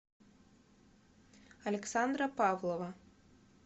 александра павлова